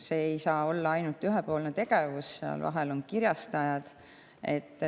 See ei saa olla ainult ühepoolne tegevus, seal vahel on kirjastajad.